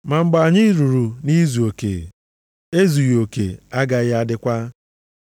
Ma mgbe anyị ruru nʼizuoke, ezughị oke agaghị adịkwa.